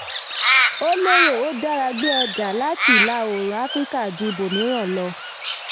ó lérò: ó dára gbé ọjà láti ìlà-oòrùn áfíríkà ju ibòmíràn lọ.